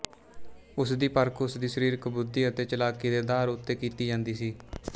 ਉਸਦੀ ਪਰਖ ਉਸਦੀ ਸ਼ਰੀਰਕ ਬੁੱਧੀ ਅਤੇ ਚਲਾਕੀ ਦੇ ਅਧਾਰ ਉਤੇ ਕੀਤੀ ਜਾਂਦੀ ਸੀ